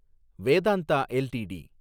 Vedanta LTD